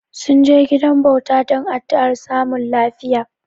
Sun je gidan bauta don addu'ar samun lafiya.